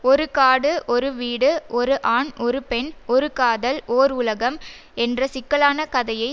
ஒரு காடு ஒரு வீடு ஒரு ஆண் ஒரு பெண் ஒரு காதல் ஓர் உலகம் என்ற சிக்கலான கதையை